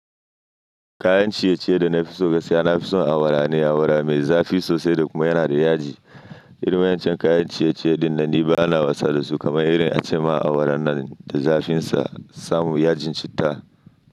Kayan ciye-ciye da na fi so gaskiya, na fi son awara ne. Awara mai zafi sosai da kuma yana da yaji. Irin wa yancan kayan ciye-ciye ɗin na ni ba na wasa da su kamar irin acema awara nan da zafinsa samu yajin citta.